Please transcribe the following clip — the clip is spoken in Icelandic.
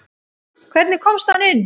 Hvernig komst hann inn?